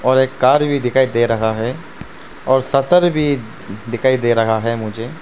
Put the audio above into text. और एक कार भी दिखाई दे रहा है और शटर भी दिखाई दे रहा है मुझे।